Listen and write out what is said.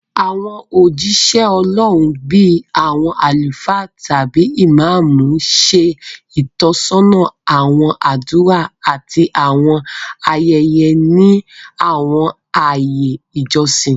Àwọn ójíṣẹ́ Ọlọ́run, bíi àwọn àlùfáà tàbí Ìmámù, ṣe ìtọ́sọ́nà àwọn àdúrà àti àwọn ayẹyẹ ní àwọn ààyè ìjọsìn